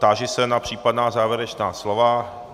Táži se na případná závěrečná slova.